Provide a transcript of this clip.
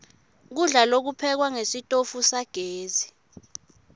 kudla lokuphekwa ngesitofu sagesi